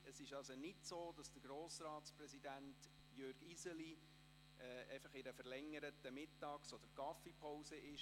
Es ist nicht so, dass Grossratspräsident Jürg Iseli in einer verlängerten Mittags- oder Kaffeepause weilt.